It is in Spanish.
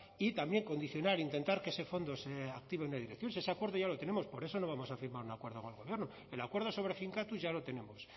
y también condicionar intentar que ese fondo se active en una dirección si ese acuerdo ya lo tenemos por eso no vamos a firmar un acuerdo con el gobierno el acuerdo sobre finkatuz ya lo tenemos